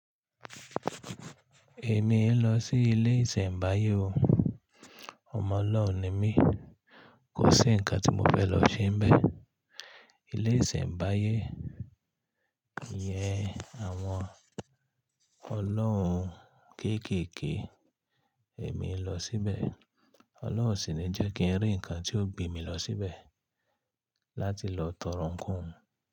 Èmi ń lọ sí ilé ìsẹ̀mbáyé o. Ọmọ ọlọhun ni mi, kò sí ǹkan tí mo fẹ́ lọ ṣe níbẹ̀. Ilé ìsẹ̀mbáyé iyẹn àwọn ọlọ́hun kéékèèké. Èmi i lọ síbẹ̀, Ọlọ́hun o sì ní jẹ́ kí n rí ǹkan tí ó gbé mi lọ síbẹ̀ láti lọ tọrọ ǹkan.